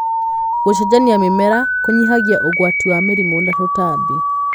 gũcenjania mĩmera kũnyihagia ũgwati wa mĩrimũ na tũtambi.